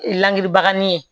Langiribaga in ye